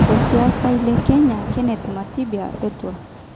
Osiasai le Kenya Kenneth Matiba etwa.